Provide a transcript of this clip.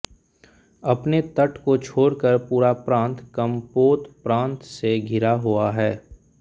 अपने तट को छोड़कर पूरा प्रान्त कम्पोत प्रान्त से घिरा हुआ है